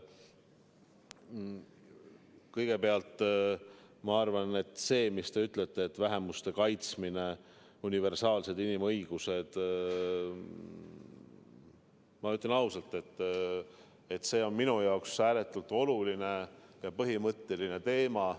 Kõigepealt see, mis te ütlete, et vähemuste kaitsmine, universaalsed inimõigused – ma ütlen ausalt, et see on minu jaoks ääretult oluline ja põhimõtteline teema.